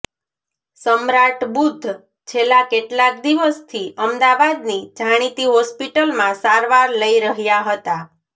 સમ્રાટ બુધ્ધ છેલ્લા કેટલાક દિવસથી અમદાવાદની જાણીતી હોસ્પિટલમાં સારવાર લઇ રહ્યા હતાં